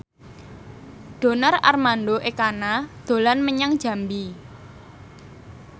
Donar Armando Ekana dolan menyang Jambi